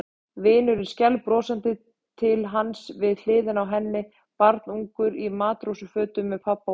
Vinurinn skælbrosandi til hans við hliðina á henni, barnungur í matrósafötum með pabba og mömmu.